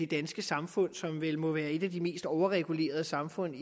danske samfund som vel må være et af de mest overregulerede samfund